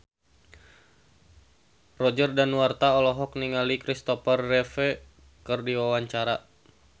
Roger Danuarta olohok ningali Kristopher Reeve keur diwawancara